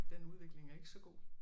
Den udvikling er ikke så god